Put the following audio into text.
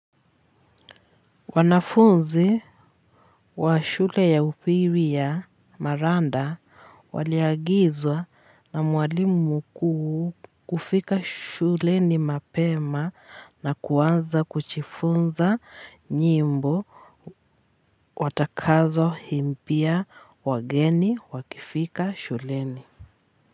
Wanafunzi wa shule ya upili ya maranda waliagizwa na mwalimu mkuu kufika shuleni mapema na kuanza kujifunza nyimbo watakazo imbia wageni wakifika shuleni.